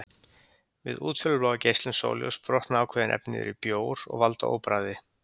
Við útfjólubláa geislun sólarljóss brotna ákveðin efni niður í bjór og valda óbragði.